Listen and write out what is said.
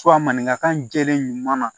maninkakan jɛlen ɲuman na